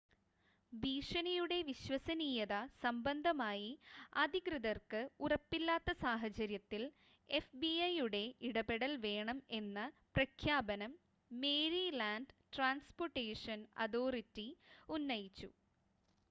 ഭീഷണിയുടെ വിശ്വസനീയത സംബന്ധമായി അധികൃതർക്ക് ഉറപ്പില്ലാത്ത സാഹചര്യത്തിൽ fbi യുടെ ഇടപെടൽ വേണം എന്ന പ്രഖ്യാപനം മേരിലാൻഡ് ട്രാൻസ്പോർട്ടേഷൻ അതോറിറ്റി ഉന്നയിച്ചു